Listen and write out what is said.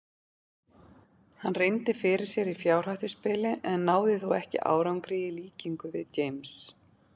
Hann reyndi fyrir sér í fjárhættuspili en náði þó ekki árangri í líkingu við James.